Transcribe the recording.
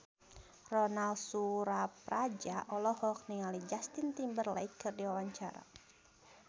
Ronal Surapradja olohok ningali Justin Timberlake keur diwawancara